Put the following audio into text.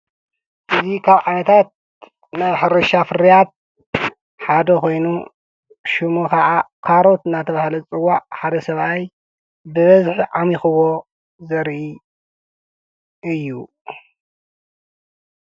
እዚ ካብ ዓይነታት ናይ ሕርሻ ፍርያት ሓደ ኮይኑ ሽሙ ኸዓ ዓሮኽ እናተባህለ ዝፅዋዕ ሓደ ሰብኣይ ብኢዱ ዓሚኹዎ ዘርኢ እዩ፡፡